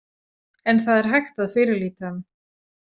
En það er hægt að fyrirlíta hann.